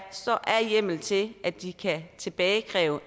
hjemmel til at de kan tilbagekræve